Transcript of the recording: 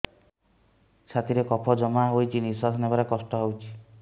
ଛାତିରେ କଫ ଜମା ହୋଇଛି ନିଶ୍ୱାସ ନେବାରେ କଷ୍ଟ ହେଉଛି